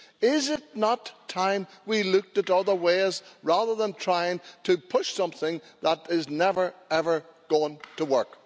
Is it not time we looked at other ways, rather than trying to push something that is never, ever going to work?